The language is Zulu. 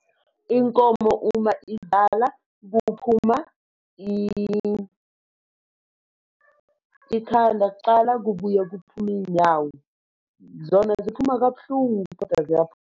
Inkomo uma izala kuphuma ikhanda kuqala kubuye kuphume iy'nyawo. Zona ziphuma kabuhlungu, kodwa ziyaphuma.